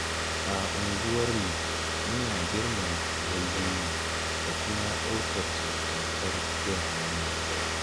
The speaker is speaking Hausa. A unguwarmu muna girmama yayyenmu da kuma ɗaukar su tamkar iyayenmu.